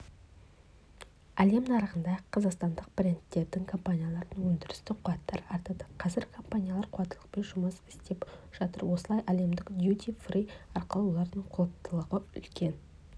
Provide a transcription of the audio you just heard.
әлем нарығында қазақстандық брендтердің компаниялардың өндірістік қуаттары артады қазір компаниялар қуаттылықпен жұмыс істеп жатыр осылай әлемдік дюти-фри арқылы олардың қуаттылығына үлкен